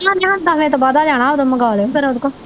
ਦਸਵੇਂ ਤੋਂ ਬਾਅਦਾ ਜਾਣਾ ਓਦੋ ਮੰਗਾਲਿਓ ਫਿਰ ਉਹਦੇ ਕੋ